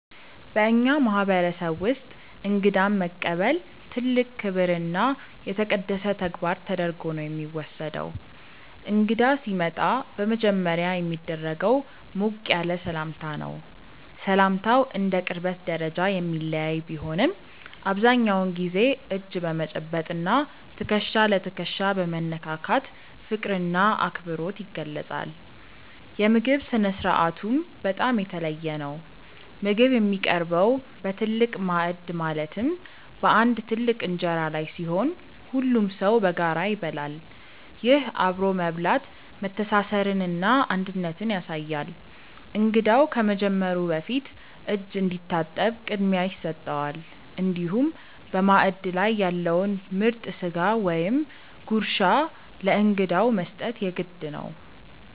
በእኛ ማህበረሰብ ውስጥ እንግዳን መቀበል ትልቅ ክብርና የተቀደሰ ተግባር ተደርጎ ነው የሚወሰደው። እንግዳ ሲመጣ በመጀመሪያ የሚደረገው ሞቅ ያለ ሰላምታ ነው። ሰላምታው እንደ ቅርበት ደረጃ የሚለያይ ቢሆንም፣ አብዛኛውን ጊዜ እጅ በመጨበጥ እና ትከሻ ለትከሻ በመነካካት ፍቅርና አክብሮት ይገለጻል። የምግብ ስነ-ስርዓቱም በጣም የተለየ ነው። ምግብ የሚቀርበው በትልቅ ማዕድ ማለትም በአንድ ትልቅ እንጀራ ላይ ሲሆን፣ ሁሉም ሰው በጋራ ይበላል። ይህ አብሮ መብላት መተሳሰርንና አንድነትን ያሳያል። እንግዳው ከመጀመሩ በፊት እጅ እንዲታጠብ ቅድሚያ ይሰጠዋል፤ እንዲሁም በማዕድ ላይ ያለውን ምርጥ ስጋ ወይም ጉርሻ ለእንግዳው መስጠት የግድ ነው።